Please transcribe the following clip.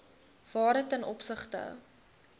waarde ten opsigte